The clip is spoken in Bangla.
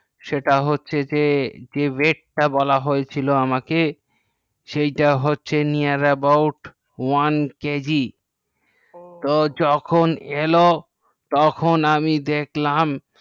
সেটা হচ্ছে যে weight বলা হয়েছিল সেই টা হচ্ছে near about one kg তো যখন এলো তখন আমি দেখলাম